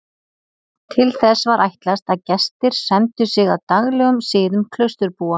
Til þess var ætlast að gestir semdu sig að daglegum siðum klausturbúa.